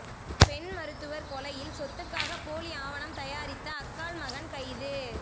பெண் மருத்துவர் கெலையில் சொத்துக்காக போலி ஆவணம் தயாரித்த அக்காள் மகன் கைது